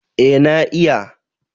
Eh na iya